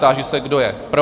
Táži se, kdo je pro?